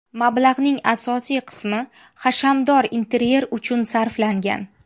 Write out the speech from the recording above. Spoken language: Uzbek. Mablag‘ning asosiy qismi hashamdor interyer uchun sarflangan.